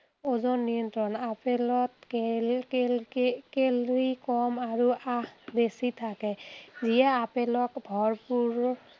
ওজন নিয়ন্ত্ৰণ। আপেলত কেল কেল কে calcium আৰু আঁহ বেছি থাকে। যিয়ে আপেলক ভৰপূৰ